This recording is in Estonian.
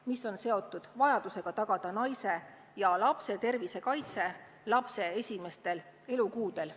See on seotud vajadusega tagada naise ja lapse tervise kaitse lapse esimestel elukuudel.